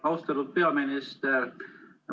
Austatud peaminister!